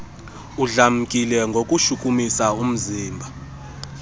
udlamkile ngokushukumisa umzimba